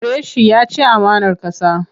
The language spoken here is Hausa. Ku kore shi! Ya ci amanar ƙasa.